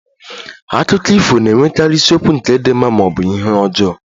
Akụkọ ifo na-enwekarị isiokwu nke di mma ma ọ bụ ihe ọjọọ